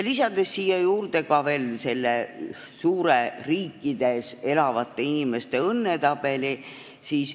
Lisan siia juurde veel selle suure, eri riikides elavate inimeste õnnetabeli.